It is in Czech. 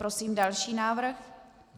Prosím další návrh.